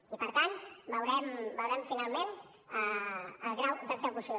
i per tant en veurem finalment el grau d’execució